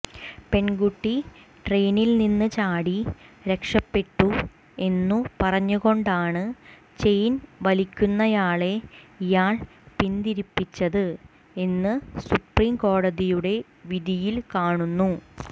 പെണ്കുട്ടി ട്രെയിനിൽ നിന്ന് ചാടി രക്ഷപ്പെട്ടു എന്നു പറഞ്ഞുകൊണ്ടാണ് ചെയിൻ വലിക്കുന്നയാളെ ഇയാൾ പിന്തിരിപ്പിച്ചത് എന്ന് സുപ്രീംകോടതിയുടെ വിധിയിൽ കാണുന്നു